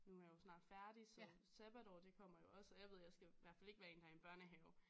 Nu er jeg jo snart færdig så sabbatår det kommer jo også og jeg ved jeg skal i hvert fald ikke være en der er i en børnehave